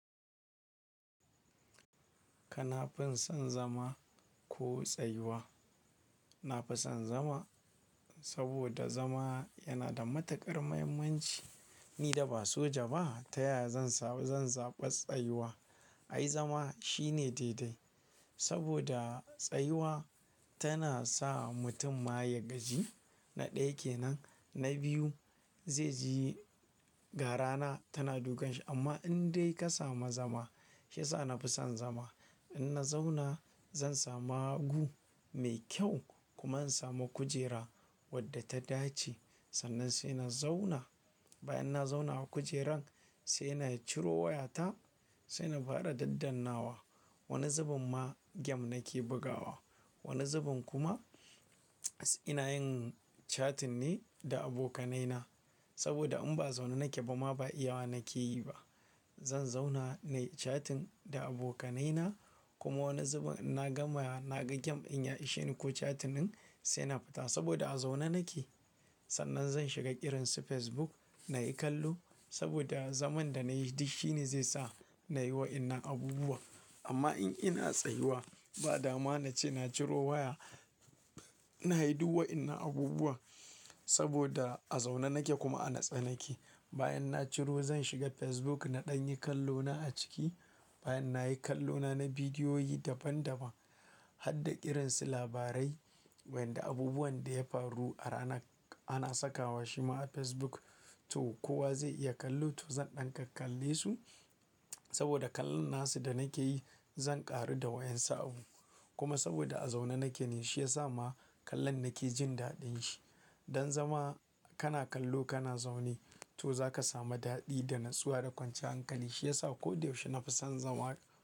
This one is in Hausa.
Kana fin son zama ko tsayuwa? Na fi son zama saboda zama yana da matuƙar muhimmanci. Ni da ba soja ba, ta yaya zan samu zan zaɓi tsayuwa. Ai zama shine daidai saboda tsayuwa tana sa mutum ma ya gaji. Na ɗaya kenan, na biyu zai ji ga rana tana dukan shi amma in dai ka samu zama, shi yasa na fi son zama. In na zauna zan samu hagu mai kyau kuma in samu kujera wadda ta dace sannan sai na zauna. Bayan na zauna a kujeran sai na ciro wayata sai na fara daddan nawa. Wani zubin ma game nake bugawa, wani zubin kuma ina yin chatting ne da abokanaina saboda in ba a zaune nake ba ma ba iyawa nake yi ba. Zan zauna nayi chatting da abokanaina kuma wani zubin in na gama naga game ɗin ya isheni ko chatting ɗin sai na fita saboda a zaune nake. Sannan zan shiga irinsu Facebook nayi kallo saboda zaman da nayi duk shi ne zai sa nayi wa'yannan abubuwan. Amma in ina tsayuwa ba dama nace na ciro waya, na yi duk wa'yannan abubuwan saboda a zaune nake kuma a natse nake. Bayan na ciro zan shiga Facebook na ɗan yi kallo na a ciki. Bayan nayi kallo na na bidiyoyi daban daban har da kiransu labarai wanda abubuwan da ya faru a rana ana sakawa shi ma a Facebook. To kowa zai iya kallo to zan ɗan kakkalle su saboda kallon na su da nake yi zan ƙaru da wa'yan sa abu. Kuma saboda a zaune nake ne shi ya sa ma kallon nake jin daɗin shi. Dan zama kana kallo kana zaune to zaka samu daɗi da natsuwa da kwanciyar hankali shi yasa ko da yaushe na fi son zama.